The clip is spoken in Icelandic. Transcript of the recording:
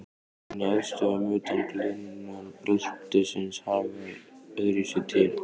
En í eldstöðvum utan gliðnunarbeltisins hagar öðruvísi til.